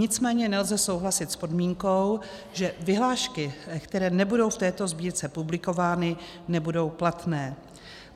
Nicméně nelze souhlasit s podmínkou, že vyhlášky, které nebudou v této sbírce publikovány, nebudou platné.